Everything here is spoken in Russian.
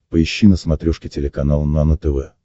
поищи на смотрешке телеканал нано тв